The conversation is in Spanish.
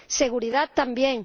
seguridad, también.